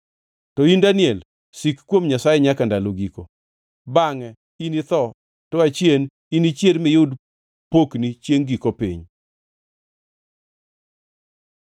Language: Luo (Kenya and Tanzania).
“To in Daniel, sik kuom Nyasaye nyaka ndalo giko. Bangʼe initho, to achien inichier miyud pokni chiengʼ giko piny.”